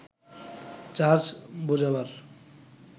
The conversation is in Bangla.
চার্জ বোঝাবার